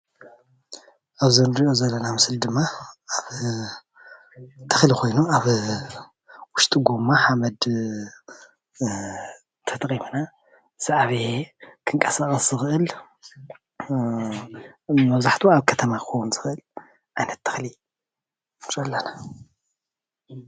እዚ እንሪኦ ዘለና ምስሊ ድማ ኣብ ተክሊ ኮይኑ ኣብ ውሽጢ ጎማ ሓመድ ተጠቂምና ምስ ዓበየ ክንቀሳቀስ ዝክእል መብዛሕትኡ ኣብ ከተማ ክኮን ዝክእል ዓይነት ተክሉ ንርኢ አለና፡፡